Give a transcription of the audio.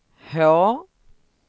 H